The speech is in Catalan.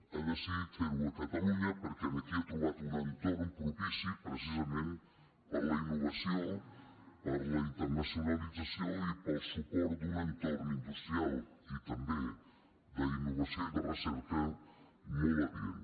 ha decidit fer·ho a catalunya perquè aquí ha trobat un entorn propici precisament per a la innovació per a la internacio·nalització i pel suport d’un entorn industrial i també d’innovació i de recerca molt adient